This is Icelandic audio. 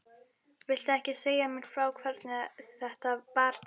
Viltu ekki segja mér frá hvernig þetta bar til?